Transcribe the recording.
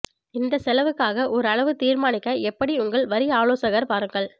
இந்த செலவுக்காக ஒரு அளவு தீர்மானிக்க எப்படி உங்கள் வரி ஆலோசகர் பாருங்கள்